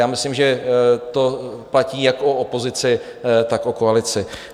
Já myslím, že to platí jak o opozici, tak o koalici.